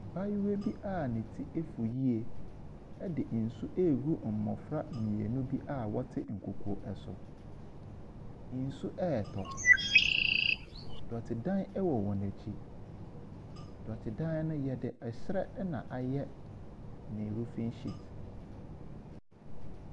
Abaayewa bi a ne ti afu yie de nsu regu mmofra mmienu bi a wɔte nkokoɔ so. Nsu retɔ. Dɔtedan wɔ wɔn akyi. Dɔtedan no yɛde ɛsrɛ na ayɛ ne roofing sheet.